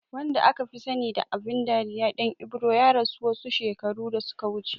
Wanda akafi sani da abin dariya Ɗan Ibro ya rasu wasu shekaru da suka wuce